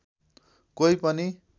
कोही पनि